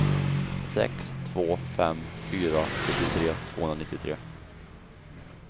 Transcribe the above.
sex två fem fyra sjuttiotre tvåhundranittiotre